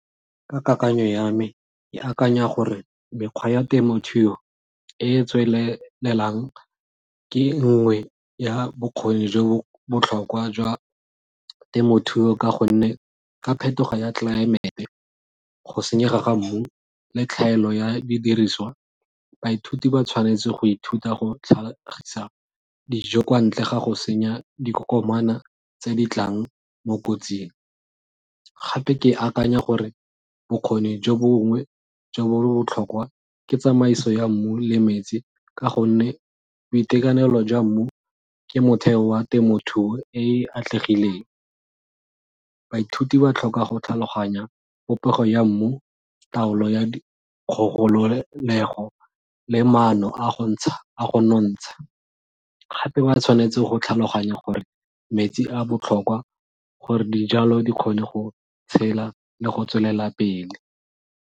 Ka kakanyo ya me, ke akanya gore mekgwa ya temothuo e e tswelelang ke nngwe ya bokgoni jo botlhokwa jwa temothuo ka gonne ka phetogo ya tlelaemete go senyega ga mmu le tlhaelo ya didiriswa, baithuti ba tshwanetse go ithuta go tlhagisa dijo kwa ntle ga go senya dikokomana tse di tlang mo kotsing. Gape ke akanya gore bokgoni jo bongwe jo bo botlhokwa ke tsamaiso ya mmu le metsi ka gonne boitekanelo jwa mmu ke motheo wa temothuo e e atlegileng. Baithuti ba tlhoka go tlhaloganya popego ya mmu, taolo ya le maano a go a go nontsha gape ba tshwanetse go tlhaloganya gore metsi a botlhokwa gore dijalo di kgone go tshela le go tswelela pele.